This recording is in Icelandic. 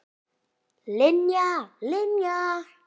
Linja, Linja.